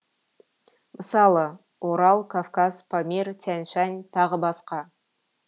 мысалы орал кавказ памир тянь шань тағы басқа